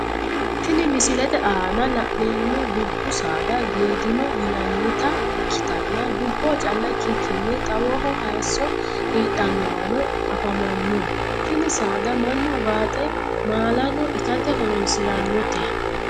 Tinni misilete aanna la'neemo dubu saada geedimo yinnannita ikitanna duboho calla ikikinni xawoho hayiso heedhanowano afamano tinni saada Manu ugaaxe maalanno itate horoonsiranote.